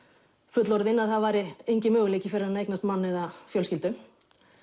fullorðin að það væri enginn möguleiki fyrir hana að eignast mann eða fjölskyldu